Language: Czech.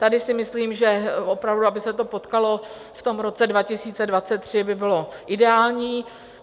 Tady si myslím, že opravdu aby se to potkalo v tom roce 2023, by bylo ideální.